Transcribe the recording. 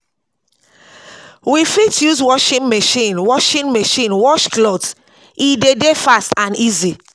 We fit use washing machine wash washing machine wash cloths, e de dey fast and easy